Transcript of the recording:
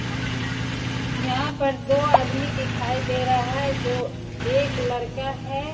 यहां पर दो आदमी दिखाई दे रहा है जो एक लड़का है।